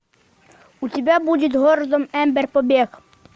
у тебя будет город эмбер побег